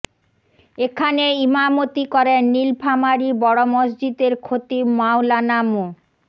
এখানে ইমামতি করেন নীলফামারী বড় মসজিদের খতিব মাওলানা মো